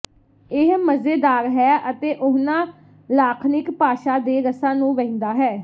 ਇਹ ਮਜ਼ੇਦਾਰ ਹੈ ਅਤੇ ਉਹਨਾਂ ਲਾਖਣਿਕ ਭਾਸ਼ਾ ਦੇ ਰਸਾਂ ਨੂੰ ਵਹਿੰਦਾ ਹੈ